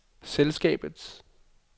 selskabets